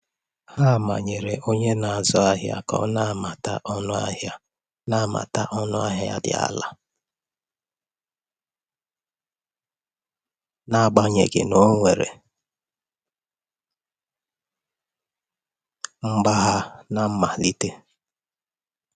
A manyere onye na-ere ahịa ka ọ nabata ọnụ ahịa nabata ọnụ ahịa dị um ala n'agbanyeghị na o nwere um mgbagha na mmalite.